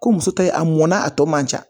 Ko muso ta ye a mɔnna a tɔ man ca